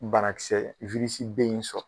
Banakisɛ de in sɔrɔ.